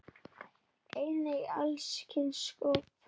Einnig alls kyns sköpun.